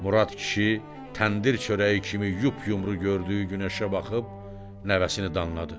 Murad kişi təndir çörəyi kimi yup-yumru gördüyü günəşə baxıb nəvəsini danladı.